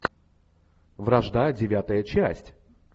вражда девятая часть